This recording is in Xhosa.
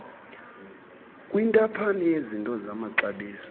kwintaphane yezinto zamaxabiso